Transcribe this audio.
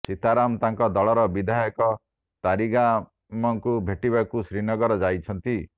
ସୀତାରାମ ତାଙ୍କ ଦଳର ବିଧାୟକ ତାରିଗାମଙ୍କୁ ଭେଟିବାକୁ ଶ୍ରୀନଗର ଯାଇଛନ୍ତି